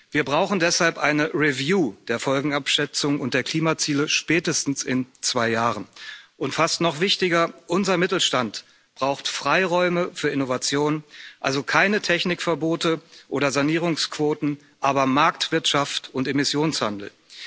Wir brauchen deshalb eine Review der Folgenabschätzung und der Klimaziele spätestens in zwei Jahren, und fast noch wichtiger Unser Mittelstand braucht Freiräume für Innovation, also keine Technikverbote oder Sanierungsquoten, aber Marktwirtschaft und Emissionshandel.